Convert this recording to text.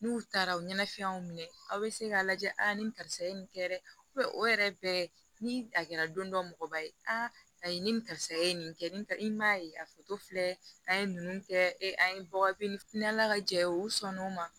N'u taara u ɲɛnafɛnw minɛ aw bɛ se k'a lajɛ a ni karisa ye nin kɛ dɛ o yɛrɛ bɛɛ ni a kɛra don dɔ mɔgɔba ye ayi ni nin karisa ye nin kɛ nin ta i m'a ye a foto filɛ an ye ninnu kɛ an ye bagafiyɛ ni ala ka jɛ ye u sɔn n'o ma